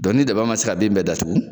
Dɔn ni daba ma se ka bin bɛɛ datugu